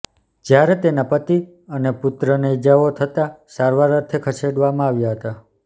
જ્યારે તેના પતિ અને પુત્રને ઇજાઓ થતાં સારવાર અર્થે ખસેડવામાં આવ્યા હતા